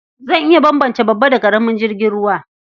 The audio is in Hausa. Zan iya bambance babba da ƙaramin jirgin ruwa.